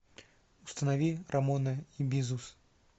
установи рамона и бизус